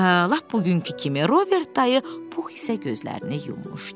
Lap bugünkü kimi Robert dayı, Pux isə gözlərini yummuşdu.